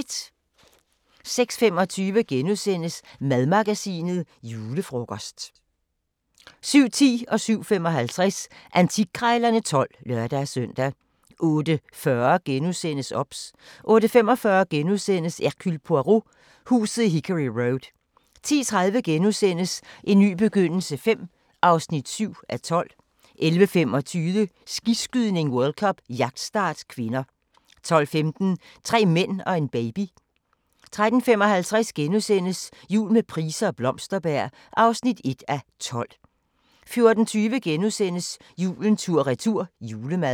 06:25: Madmagasinet: Julefrokost * 07:10: Antikkrejlerne XII (lør-søn) 07:55: Antikkrejlerne XII (lør-søn) 08:40: OBS * 08:45: Hercule Poirot: Huset i Hickory Road * 10:30: En ny begyndelse V (7:12)* 11:25: Skiskydning: World Cup - jagtstart (k) 12:15: Tre mænd og en baby 13:55: Jul med Price og Blomsterberg (1:12)* 14:20: Julen tur-retur – julemad *